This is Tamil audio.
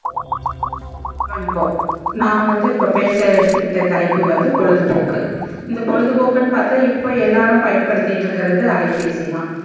வணக்கம் நா வந்து இப்போ பேச எடுத்துகிட்ட தலைப்பு வந்து பொழுது போக்கு இந்த பொழுது போகுன்னு பாத்தா இப்போ எல்லாரும் பயன் படுத்திட்டு இருக்கறது அலைபேசி தா